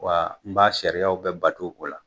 Wa n b'a sariyaw bɛɛ bato o la.